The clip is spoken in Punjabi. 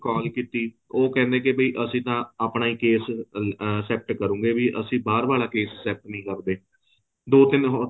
call ਕੀਤੀ ਉਹ ਕਹਿੰਦੇ ਵੀ ਅਸੀਂ ਤਾਂ ਆਪਣਾ ਹੀ case ਹੀ ਅਹ set ਕਰੂਗੇ ਵੀ ਅਸੀਂ ਬਹਾਰ ਵਾਲਾ case set ਨਹੀਂ ਕਰਦੇ ਦੋ ਤਿੰਨ